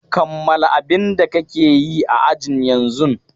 Kammala abin da kake yi a ajin yanzun!